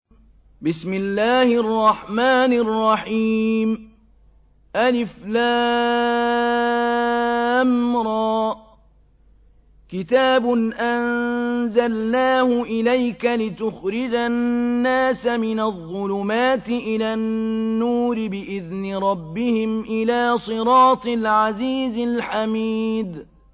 الر ۚ كِتَابٌ أَنزَلْنَاهُ إِلَيْكَ لِتُخْرِجَ النَّاسَ مِنَ الظُّلُمَاتِ إِلَى النُّورِ بِإِذْنِ رَبِّهِمْ إِلَىٰ صِرَاطِ الْعَزِيزِ الْحَمِيدِ